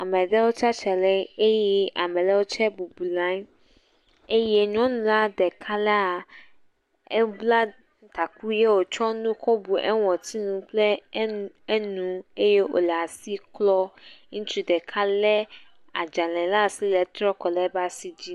Amewo tsitre ɖe anyi eye ame aɖewo tsɛ bubu le anyi eye nyɔla la ɖeka la, ebla taku eye wotsɔ nu kɔ bu eƒe ŋɔtinu kple enu eye wole asi klɔm. Ŋutsu ɖeka lé adzalẽ le asi wetrɔ kɔ ɖe eƒe asi dzi.